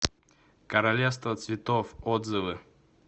королевство цветов отзывы